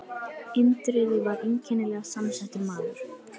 Indriði var einkennilega samsettur maður.